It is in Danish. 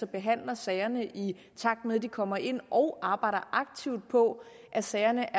behandler sagerne i takt med at de kommer ind og arbejder aktivt på at sagerne